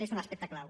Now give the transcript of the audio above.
és un aspecte clau